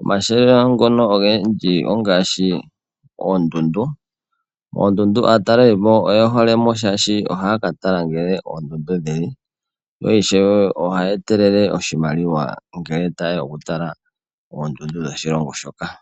.Omahala ngono ogendji ongaashi oondundu .Moondundu aatalelipo oyehole mo ,shaashi ohaa ka tala nkene oondundu dhili ,yo ishewe ohaya etelele oshimaliwa ngele taye ya okutala oondundu dhoshilongo shoka.